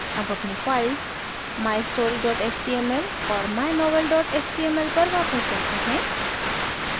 अब अपनी files mystory html और mynovel html पर वापस जाते हैं